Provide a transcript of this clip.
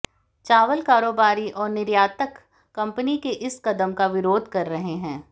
चावल कारोबारी और निर्यातक कंपनी के इस कदम का विरोध कर रहे हैं